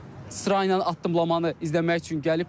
sıra ilə addımlamanı izləmək üçün gəliblər.